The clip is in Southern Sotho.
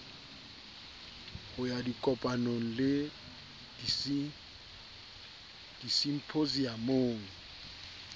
ho ya dikopanong le disimphosiamong